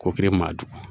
Ko kelen maa jugu